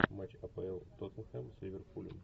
матч апл тоттенхэм с ливерпулем